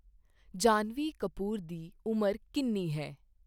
ਜਾਨ੍ਹਵੀ ਕਪੂਰ ਦੀ ਉਮਰ ਕਿੰਨੀ ਹੈ?